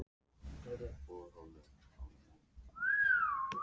Á Húsavík eru iðnfyrirtæki sem nýta heita vatnið frá borholunum.